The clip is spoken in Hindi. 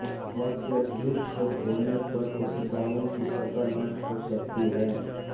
अत्यधिक क्षोभ होने पर कोशिकाओं की सतह नष्ट हो सकती है